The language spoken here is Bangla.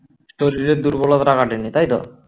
শরীরের দুর্বলতাটা কাটেনি তাই তো